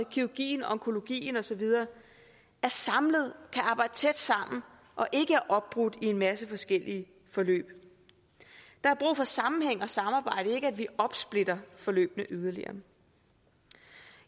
kirurgien onkologien osv er samlet kan arbejde tæt sammen og ikke er opbrudt i en masse forskellige forløb der er brug for sammenhæng og samarbejde ikke at vi opsplitter forløbene yderligere